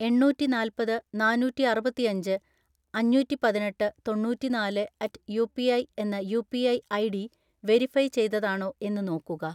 എണ്ണൂറ്റിനാല്പത് നാനൂറ്റിഅറുപത്തിഅഞ്ച് അഞ്ഞൂറ്റിപതിനെട്ട് തൊണ്ണൂറ്റിനാല് അറ്റ് യുപിഐ എന്ന യുപിഐ ഐഡി വെരിഫൈ ചെയ്തതാണോ എന്ന് നോക്കുക